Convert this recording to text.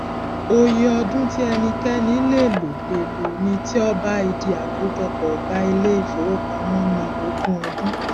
òye ọdún tí ẹnikẹni lè lò lè lò ní ti ọba ìdí akójọpọ ọgá ilé ifówopàmọ ni ogún ọdún